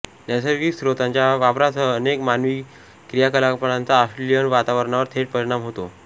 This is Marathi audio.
नैसर्गिक स्त्रोतांच्या वापरासह अनेक मानवी क्रियाकलापांचा ऑस्ट्रेलियन वातावरणावर थेट परिणाम होतो